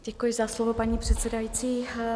Děkuji za slovo, paní předsedající.